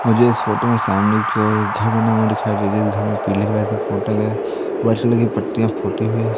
मुझे इस फोटो में सामने की ओर घर बना हुआ दिखाई दे जिस घर में पीली कलर से पोता गया वाइट कलर की पट्टियां पोती गई हैं।